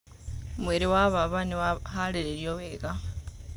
Mwĩrĩ wa baba nĩ waharĩrĩirio wega.